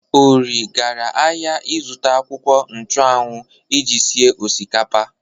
Ori gara ahịa izụta akwụkwọ nchu anwu iji sie osikapa.